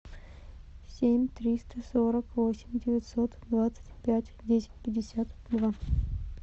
семь триста сорок восемь девятьсот двадцать пять десять пятьдесят два